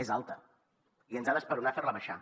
és alta i ens ha d’esperonar fer la baixar